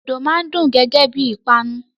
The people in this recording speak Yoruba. Dòdò máa n dùn gẹgẹ bí ìpanu.